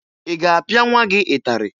Ị ga-apịa nwa gị ịtarị?